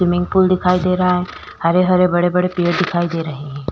Swimming pool दिखाई दे रहा है हरे-हरे बड़े-बड़े पेड़ दिखाई दे रहे है।